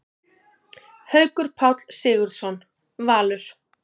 Haukur Páll Sigurðsson, Valur